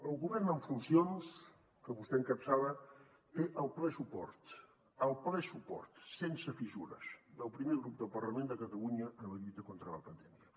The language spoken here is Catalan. el govern en funcions que vostè encapçala té el ple suport el ple suport sense fissures del primer grup del parlament de catalunya en la lluita contra la pandèmia